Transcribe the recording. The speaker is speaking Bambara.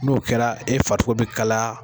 N'o kɛra e farisogo bɛ kalaya.